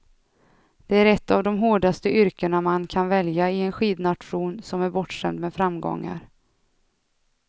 Det är ett av de hårdaste yrkena man kan välja i en skidnation som är bortskämd med framgångar.